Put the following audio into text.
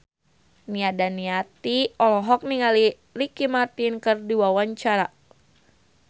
Nia Daniati olohok ningali Ricky Martin keur diwawancara